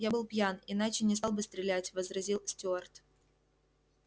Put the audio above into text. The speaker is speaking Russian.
я был пьян иначе не стал бы стрелять возразил стюарт